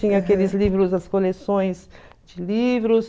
Tinha aqueles livros, as coleções de livros.